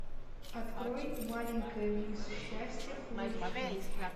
открой маленькая мисс счастье фул эйч ди